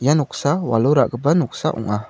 ia noksa walo ra·gipa noksa ong·a.